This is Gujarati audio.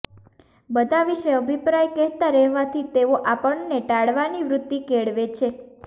બધાં વિષે અભિપ્રાય કહેતાં રહેવાથી તેઓ આપણને ટાળવાની વૃતિ કેળવે છે